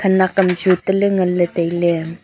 khanak am chu taley nganley tailey.